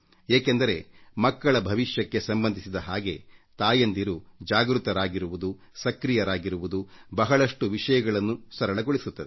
ಏಕೆಂದರೆ ಮಕ್ಕಳ ಭವಿಷ್ಯಕ್ಕೆ ಸಂಬಂಧಿಸಿದಂತೆ ತಾಯಂದಿರು ಜಾಗೃತರಾಗಿರುವುದು ಸಕ್ರಿಯರಾಗಿರುವುದು ಬಹಳಷ್ಟು ವಿಷಯಗಳನ್ನು ಸರಳಗೊಳಿಸುತ್ತದೆ